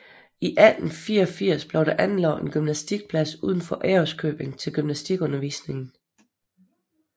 I 1884 blev der anlagt en gymnastikplads uden for Ærøskøbing til gymnastikundervisningen